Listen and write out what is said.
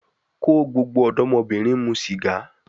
Ko gbogbo odomobirin mu siga